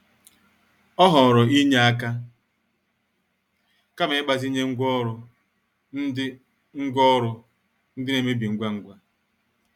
Ọ họọrọ inye aka kama ịgbazinye ngwa oru ndị ngwa oru ndị na-amebi ngwa ngwa.